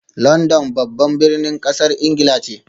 London babban birnin kasar Ingila ne